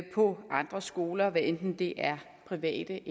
på andre skoler hvad enten det er private